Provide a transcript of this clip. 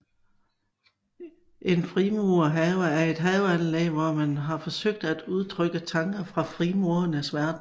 En frimurerhave er et haveanlæg hvor man har forsøgt at udtrykke tanker fra frimurernes verden